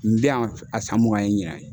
N bɛ yan a san mugan ye ɲina ye.